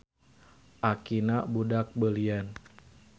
Akina budak beulian.